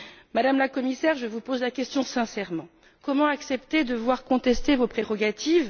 Madame la Commissaire, je vous pose la question sincèrement comment accepter de voir contester vos prérogatives?